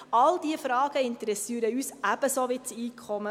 All diese Fragen interessieren uns ebenso wie das Einkommen.